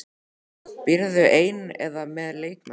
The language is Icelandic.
Býrðu ein eða með leikmönnum?